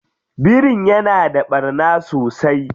Birin ya na ɓarna sosai?